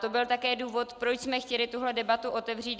To byl také důvod, proč jsme chtěli tuto debatu otevřít.